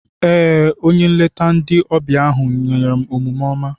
Ee, onye nlete ndi ọbịa ahụ nwere omume oma.